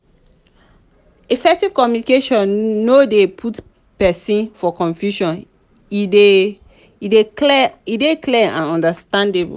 effective communication no de put persin for confusion e de dey clear and understandable